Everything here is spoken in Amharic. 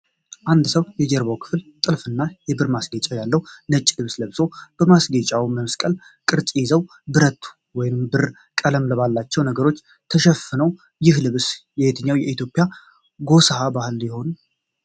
አንድ ሰው የጀርባው ክፍል ጥልፍና የብር ማስጌጫ ያለው ነጭ ልብስ ለብሶ። ማስጌጫዎቹ የመስቀል ቅርጽ ይዘው፣ ብረት ወይንም ብር ቀለም ባላቸው ነገሮች ተሸፍነው። ይህ ልብስ የየትኛው የኢትዮጵያ ጎሳ ባህል ይሆን?